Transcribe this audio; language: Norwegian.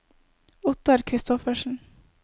Ottar Kristoffersen